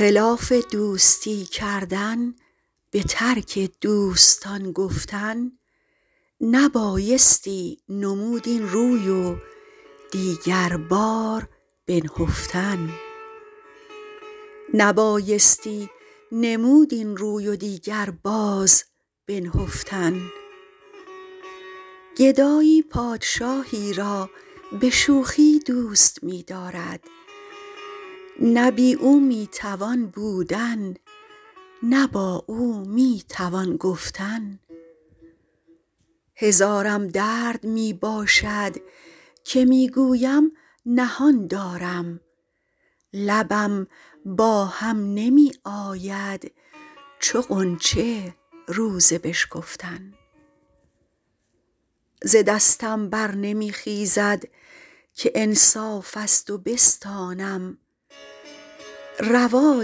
خلاف دوستی کردن به ترک دوستان گفتن نبایستی نمود این روی و دیگر باز بنهفتن گدایی پادشاهی را به شوخی دوست می دارد نه بی او می توان بودن نه با او می توان گفتن هزارم درد می باشد که می گویم نهان دارم لبم با هم نمی آید چو غنچه روز بشکفتن ز دستم بر نمی خیزد که انصاف از تو بستانم روا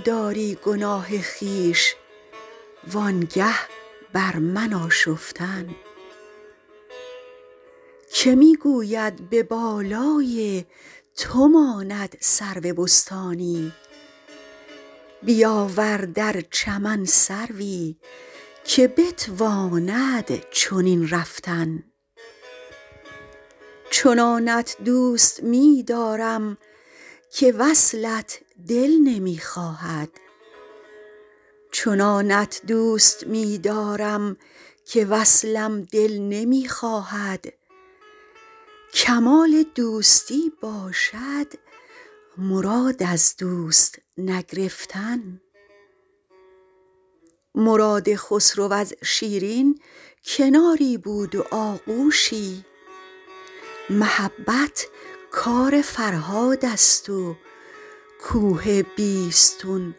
داری گناه خویش و آنگه بر من آشفتن که می گوید به بالای تو ماند سرو بستانی بیاور در چمن سروی که بتواند چنین رفتن چنانت دوست می دارم که وصلم دل نمی خواهد کمال دوستی باشد مراد از دوست نگرفتن مراد خسرو از شیرین کناری بود و آغوشی محبت کار فرهاد است و کوه بیستون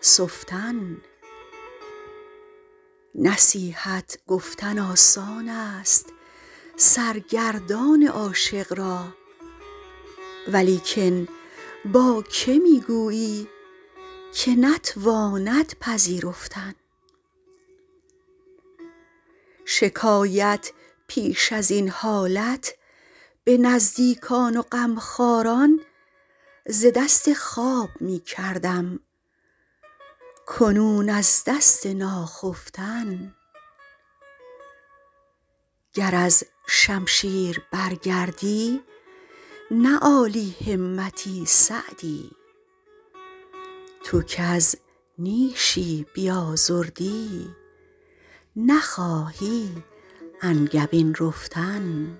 سفتن نصیحت گفتن آسان است سرگردان عاشق را ولیکن با که می گویی که نتواند پذیرفتن شکایت پیش از این حالت به نزدیکان و غمخواران ز دست خواب می کردم کنون از دست ناخفتن گر از شمشیر برگردی نه عالی همتی سعدی تو کز نیشی بیازردی نخواهی انگبین رفتن